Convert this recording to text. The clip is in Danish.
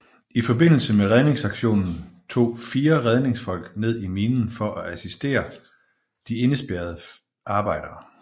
I forbindelse med redningsaktionen tog fire redningsfolk ned i minen for at assistere de indespærrede arbejdere